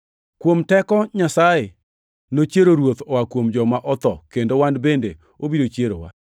Kuom teko Nyasaye nochiero Ruoth Yesu oa kuom joma otho kendo wan bende obiro chierowa.